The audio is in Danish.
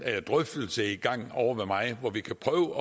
drøftelse i gang ovre hos mig hvor vi kan prøve